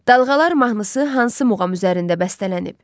Dalğalar mahnısı hansı muğam üzərində bəstələnib?